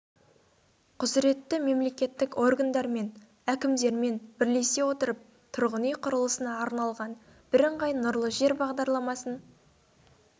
құзіретті мемлекеттік органдар мен әкімдермен бірлесе отырып тұрғын үй құрылысына арналған бірыңғай нұрлы жер бағдарламасын